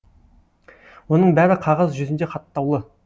оның бәрі қағаз жүзінде хаттаулы